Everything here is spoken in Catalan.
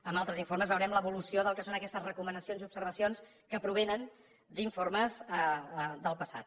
en altres informes veurem l’evolució del que són aquestes recomanacions i observacions que provenen d’informes del passat